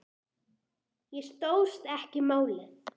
Ég stóðst ekki mátið